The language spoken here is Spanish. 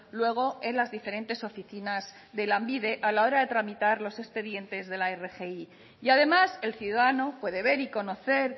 luego en las diferentes oficinas de lanbide a la hora de tramitar los expedientes de la rgi y además el ciudadano puede ver y conocer